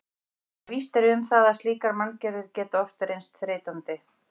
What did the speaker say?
En víst er um það að slíkar manngerðir geta oft reynst þreytandi.